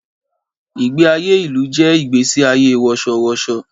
Ìgbé ayé ìlú jẹ́ ìgbẹ́sí ayé wọ̀ṣọ̀ wọ̀ṣọ̀